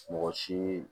Mɔgɔ si